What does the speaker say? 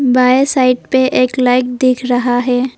बाएं साइड पे एक लाइट दिख रहा है।